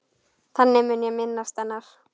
Þannig mun ég minnast hennar.